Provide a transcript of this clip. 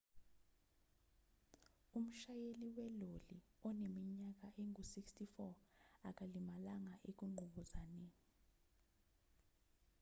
umshayeli weloli oneminyaka engu-64 akalimalanga ekunqubuzaneni